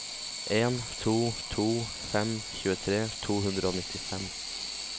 en to to fem tjuetre to hundre og nittifem